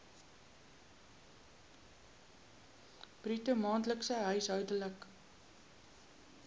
bruto maandelikse huishoudelike